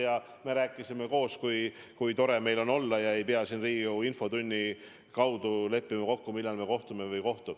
Ja me rääkisime koos, kui tore meil on olla ja et me ei pea siin Riigikogu infotunnis leppima kokku, millal me kohtume või ei kohtu.